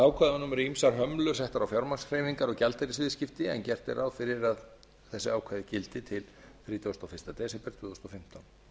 eru ýmsar hömlur settar á fjármagnshreyfingar og gjaldeyrisviðskipti en gert er ráð fyrir þessi ákvæði gildi til þrítugasta og fyrsta desember tvö þúsund og fimmtán